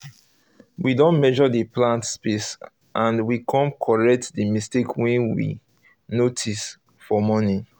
we don measure the plant space and we come correct the mistake wey we um notice um for um morning